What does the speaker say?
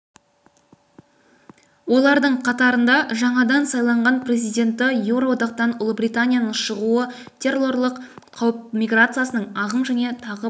олардың қатарында жаңадан сайланған президенті еуроодақтан ұлыбританияның шығуы террорлық қауіп миграциялық ағым және тағы басқа